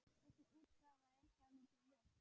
Þessi útgáfa er dálítið villt.